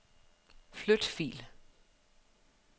Flyt fil.